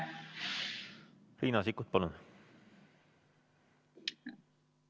Riina Sikkut, palun!